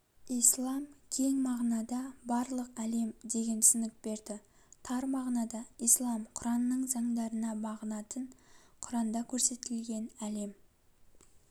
ислам кең мағынада барлық әлем деген түсінік берді тар мағынада ислам құранның заңдарына бағынатын құранда көрсетілген әлем